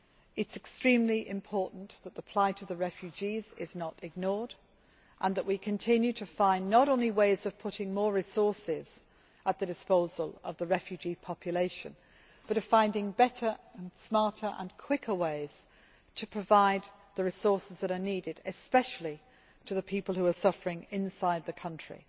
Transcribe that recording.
It is extremely important that the plight of the refugees is not ignored and that we continue to find not only ways of putting more resources at the disposal of the refugee population but of finding better, smarter and quicker ways to provide the resources that are needed, especially for the people who are suffering inside the country.